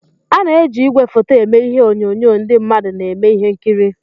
Ana-eji igwefoto eme ihe onyonyo ndị mmadụ na-eme ihe nkiri.